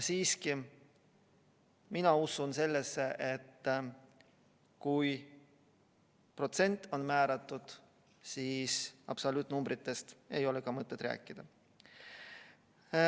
Siiski, mina usun sellesse, et kui protsent on määratud, siis absoluutnumbritest ei ole mõtet rääkida.